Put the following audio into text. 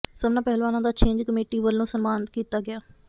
ਸਭਨਾਂ ਪਹਿਲਵਾਨਾਂ ਦਾ ਛਿੰਜ ਕਮੇਟੀ ਵੱਲੋਂ ਸਨਮਾਨ ਕੀਤਾ ਗਿਆ